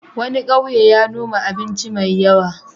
Wani ƙauye ya noma abinci mai yawa.